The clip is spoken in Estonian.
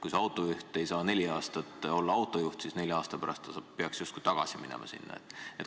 Kui autojuht ei saa neli aastat olla autojuht, siis nelja aasta pärast peaks ta sinna justkui tagasi minema.